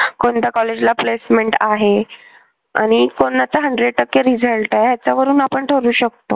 कोणत्या कॉलेजला placement आहे आणि कोणाचा hundred टक्के result आहे त्याच्यावरून आपण ठरवू शकतो.